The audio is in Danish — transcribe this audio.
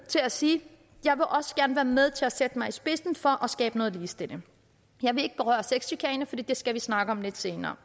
til at sige jeg vil også gerne være med til at sætte mig i spidsen for at skabe noget ligestilling jeg vil ikke berøre sexchikane for det skal vi snakke om lidt senere